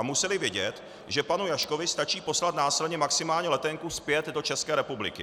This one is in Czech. A museli vědět, že panu Jaškovi stačí poslat následně maximálně letenku zpět do České republiky.